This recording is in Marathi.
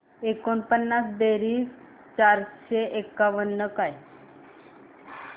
एकोणपन्नास बेरीज चारशे एकावन्न काय